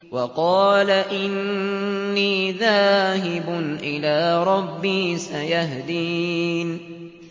وَقَالَ إِنِّي ذَاهِبٌ إِلَىٰ رَبِّي سَيَهْدِينِ